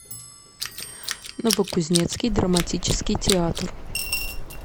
новокузнецкий драматический театр